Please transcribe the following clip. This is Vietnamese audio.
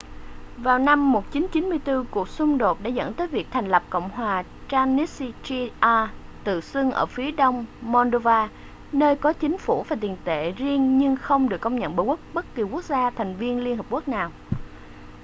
vào năm 1994 cuộc xung đột đã dẫn tới việc thành lập cộng hòa transnistria tự xưng ở phía đông moldova nơi có chính phủ và tiền tệ riêng nhưng không được công nhận bởi bất kỳ quốc gia thành viên liên hợp quốc nào